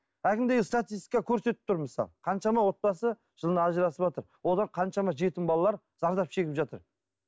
әлгіндей статистика көрсетіп тұр мысалы қаншама отбасы жылына ажырасыватыр одан қаншама жетім балалар зардап шегіп жатыр